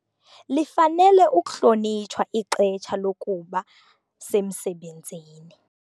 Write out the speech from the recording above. Lifanele ukuhlonitshwa ixesha lokuba semsebenzini.